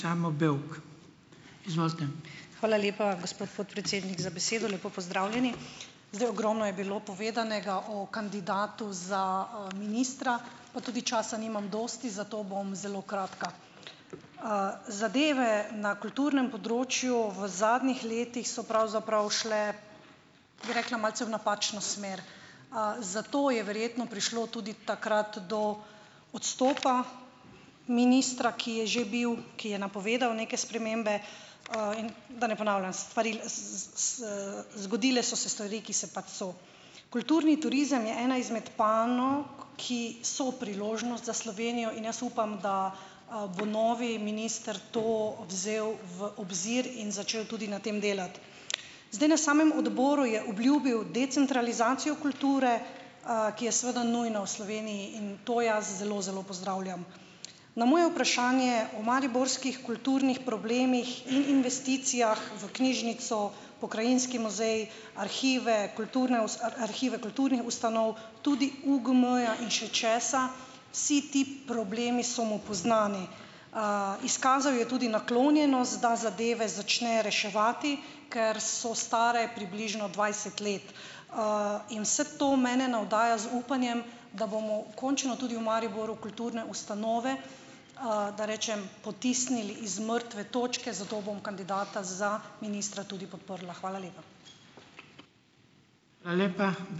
Hvala lepa, gospod podpredsednik, za besedo. Lepo pozdravljeni! Zdaj, ogromno je bilo povedanega o kandidatu za ministra, pa tudi časa nimam dosti, zato bom zelo kratka. Zadeve na kulturnem področju v zadnjih letih so pravzaprav šle, bi rekla, malce v napačno smer. Zato je verjetno prišlo tudi takrat do odstopa ministra, ki je že bil, ki je napovedal neke spremembe. Da ne ponavljam, zgodile so se stvari, ki se pač so. Kulturni turizem je ena izmed panog, ki so priložnost za Slovenijo in jaz upam, da, bo novi minister to vzel v obzir in začel tudi na tem delati. Zdaj, na samem odboru je obljubil decentralizacijo kulture, ki je seveda nujna v Sloveniji in to jaz zelo, zelo pozdravljam. Na moje vprašanje o mariborskih kulturnih problemih in investicijah v knjižnico, pokrajinski muzej, arhive kulturne arhive kulturnih ustanov, tudi UGM-ja in še česa, si ti problemi so mu poznani. Izkazal je tudi naklonjenost, da zadeve začne reševati, ker so stare približno dvajset let. In vas to mene navdaja z upanjem, da bomo končno tudi v Mariboru kulturne ustanove, da rečem, potisnili iz mrtve točke. Zato bom kandidata za ministra tudi podprla. Hvala lepa.